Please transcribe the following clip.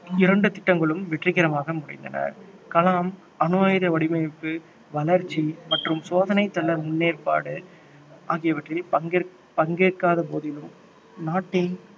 இரண்டு திட்டங்களும் வெற்றிகரமாக முடிந்தன கலாம் அணு ஆயுத வடிவமைப்பு வளர்ச்சி மற்றும் சோதனைத் தள முன்னேற்பாடு ஆகியவற்றில் பங்கேற்~ பங்கேற்காத போதிலும் நாட்டின்